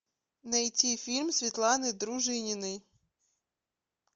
найти фильм светланы дружининой